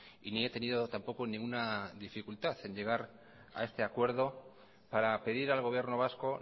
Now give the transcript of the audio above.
y ni he tenido tampoco ninguna dificultad en llegar a este acuerdo para pedir al gobierno vasco